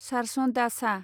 सारसन दा सां